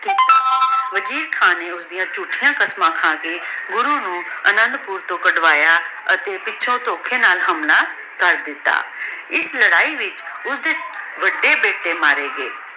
ਮਜੀਦ ਖਾਨ ਨੇ ਓਸ੍ਦਿਯਾਂ ਝੁਤਿਯਾਂ ਕਸਮਾਂ ਖਾ ਕੇ ਗੁਰੂ ਨੂ ਅਨਾਦ ਪੁਰ ਤੋਂ ਕਾਦ੍ਵਾਯਾ ਅਤੀ ਪਿਛੋਂ ਧੋਖ੍ਯ ਨਾਲ ਹਮਲਾ ਕਰ ਦਿਤਾ ਏਸ ਲਾਰੀ ਵਿਚ ਓਸਦੀ ਵਾਦੇ ਬੇਟੀ ਮਾਰੇ ਗਾਯ